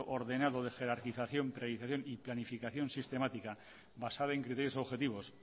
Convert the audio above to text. ordenado de jerarquización priorización y planificación sistemática basada en criterios objetivos